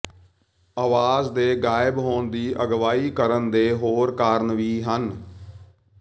ਆਵਾਜ਼ ਦੇ ਗਾਇਬ ਹੋਣ ਦੀ ਅਗਵਾਈ ਕਰਨ ਦੇ ਹੋਰ ਕਾਰਨ ਵੀ ਹਨ